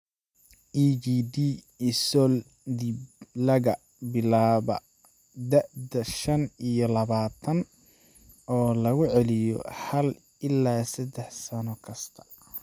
EGD esodbilaga bilaabo da'da shan iyo labatan oo lagu celiyo hal ilaa saddex sano kasta.